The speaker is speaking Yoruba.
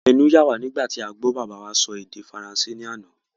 Ẹnu yà wá nígbà tí a gbọ́ bàbá wa sọ èdè faransé ní àná.